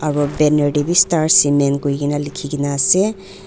aro banner taebi star cement koina likhikaena ase.